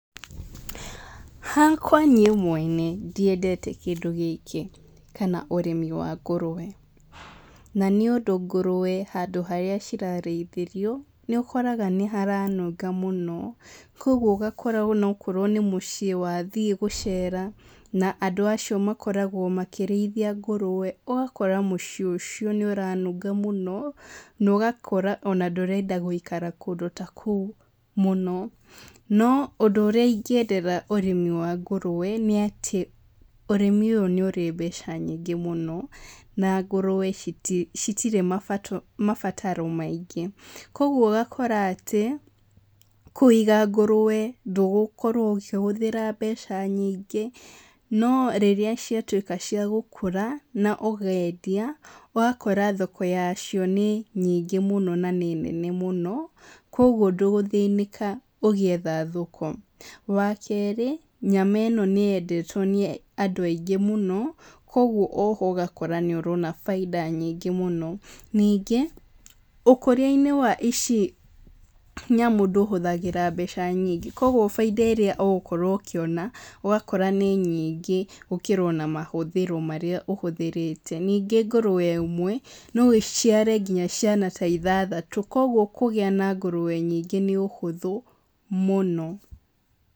Hakwa niĩ mwene ndiendete kĩndũ gĩkĩ kana ũrĩmi wa ngũrũe na nĩ ũndũ ngũrũe harĩa cirarĩithĩrio nĩ ũkoraga nĩ haranunga mũno. Kwoguo ũgakora ona okorwo nĩ mũciĩ wathiĩ gũcera na andũ acio makoragwo makĩrĩithia ngũrũe ugakora mũciĩ ũcio nĩ ũranunga mũno na ũgakora ona ndũrenda gũikara kũndũ ta kũu mũno. No ũndũ ũrĩa ingĩendera ũrĩmi wa ngũrũe nĩ atĩ ũrĩmi ũyũ nĩ ũrĩ mbeca nyingĩ mũno na ngũrũe citirĩ mabataro maingĩ. Kwoguo ũgakora atĩ kũiga ngũrũe ndũgũkorwo ũkĩhũthĩra mbeca nyingĩ. No rĩrĩa ciatuĩka cia gũkũra na ũkendia ũgakora thoko yacio nĩ nyingĩ na nĩ nene mũno, kwoguo ndũgũthĩnĩka ũgĩetha thoko. Wa kerĩ, nyama ĩno nĩ yendetwo nĩ andũ aingĩ mũno, kwoguo o ho ũgakora nĩ ũrona baita nyingĩ mũno. Ningĩ ũkũria wa ici nyamũ ndũhũthĩraga mbeca nyingĩ kwoguo baita ĩrĩa ũgũkorwo ũkiona ũgakora nĩ nyingĩ gũkĩra ona mahũthĩro marĩa ũhũthĩrĩte. Ningĩ ngũrũe ĩmwe no ĩciare nginya ciana ithathatũ, kwoguo kũgĩa na ngũrũe nyingĩ nĩ ũhũthũ mũno.